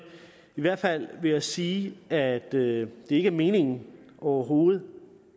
i hvert fald vil jeg sige at det ikke er meningen overhovedet